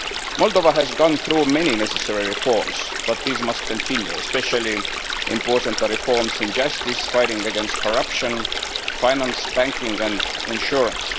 Moldova has gone through many necessary reforms, but these must continue, especially important reforms in justice, fighting against corruption, finance, banking and insurance.